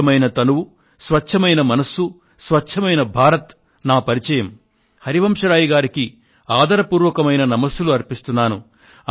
స్వచ్ఛమైన తనువు స్వచ్ఛమైన మనస్సు స్వచ్ఛమైన భారత్ నా పరిచయం హరివంశరాయ్ గారికి ఆదర పూర్వకమైన నమస్సులు అర్పిస్తున్నాను